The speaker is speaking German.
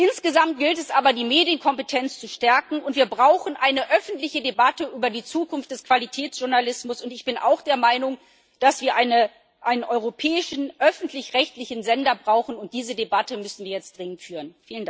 Insgesamt gilt es aber, die Medienkompetenz zu stärken, und wir brauchen eine öffentliche Debatte über die Zukunft des Qualitätsjournalismus, und ich bin auch der Meinung, dass wir einen europäischen öffentlich rechtlichen Sender brauchen, und diese Debatte müssen wir jetzt dringend führen.